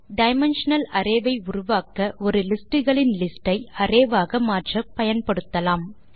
dimensional array ஐ உருவாக்க ஒரு லிஸ்ட் களின் லிஸ்ட் ஐ அரே ஆக மாற்ற பயன்படுத்தலாம்